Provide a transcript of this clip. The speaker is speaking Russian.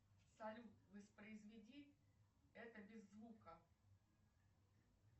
салют воспроизведи это без звука